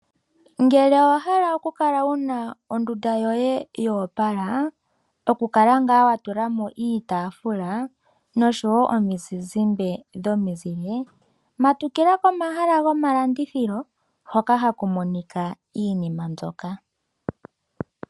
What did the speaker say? Ngele owa hala oku kala wuna ondunda yoye yoopala. Oku kala ngaa wa tula mo iitaafula nosho woo omizizimba dhomizile. Matukila komahala gomalandithilo hoka haku Monika iinima mbyoka.